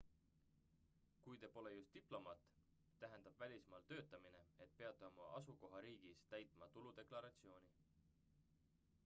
kui te pole just diplomaat tähendab välismaal töötamine et peate oma asukohariigis täitma tuludeklaratsiooni